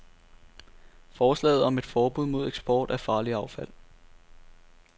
Forslaget om et forbud mod eksport af farligt affald.